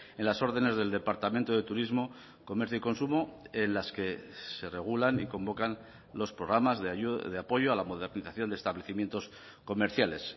en las órdenes del departamento de turismo comercio y consumo en las que se regulan y convocan los programas de apoyo a la modernización de establecimientos comerciales